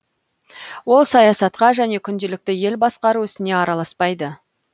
ол саясатқа және күнделікті ел басқару ісіне араласпайды